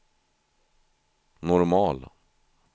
normal